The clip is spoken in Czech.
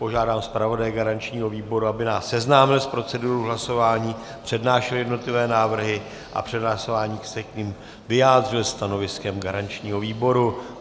Požádám zpravodaje garančního výboru, aby nás seznámil s procedurou hlasování, přednášel jednotlivé návrhy a před hlasováním se k nim vyjádřil stanoviskem garančního výboru.